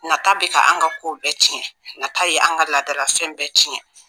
Nata bɛ ka an ka ko bɛɛ tiɲɛ nata ye an ka laadalafɛn bɛɛ tiɲɛ